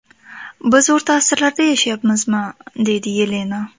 Biz o‘rta asrlarda yashayapmizmi?”, deydi Yelena.